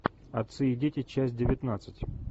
отцы и дети часть девятнадцать